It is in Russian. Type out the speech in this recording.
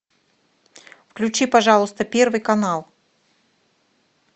включи пожалуйста первый канал